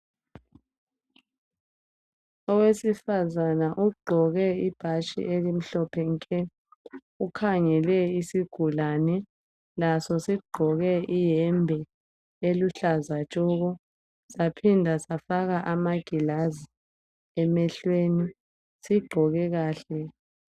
Owesifazane ogqoke ibhatshi elimhlophe nke ukhangele isigulane laso sigqoke iyembe eluhlaza tshoko saphinda safaka amangilazi emehlweni sigqoke kahle